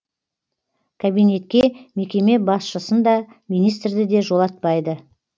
кабинетке мекеме басшысын да министрді де жолатпайды